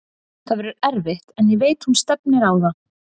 Það verður erfitt en ég veit hún stefnir á það.